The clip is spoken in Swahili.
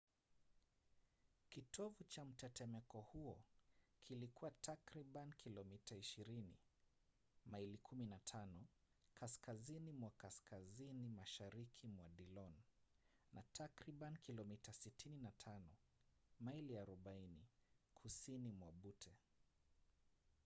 kitovu cha mtetemeko huo kilikuwa takriban kilomita 20 maili 15 kaskazini mwa kaskazini mashariki mwa dillon na takriban kilomita 65 maili 40 kusini mwa butte